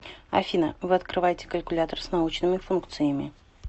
афина вы открываете калькулятор с научными функциями